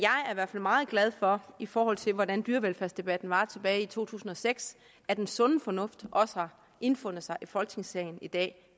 hvert fald meget glad for i forhold til hvordan dyrevelfærdsdebatten var tilbage i to tusind og seks at den sunde fornuft også har indfundet sig i folketingssalen i dag